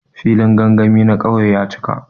Filin gangami na ƙauye ya cika.